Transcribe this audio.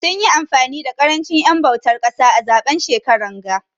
Sun yi amfani da karanchin en bautar kasa a zaben shekaran ga.